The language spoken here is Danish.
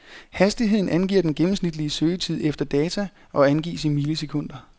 Hastigheden angiver den gennmemsnitlige søgetid efter data og angives i millisekunder.